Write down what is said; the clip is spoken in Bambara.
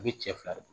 A bɛ cɛ fila de don